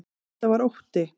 Þetta var ótti.